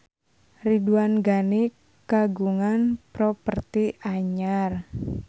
Ridwan Ghani kagungan properti anyar